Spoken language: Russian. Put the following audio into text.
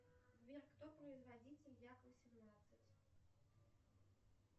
сбер кто производитель як восемнадцать